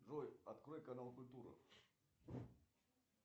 джой открой канал культура